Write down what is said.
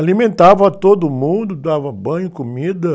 Alimentava todo mundo, dava banho, comida.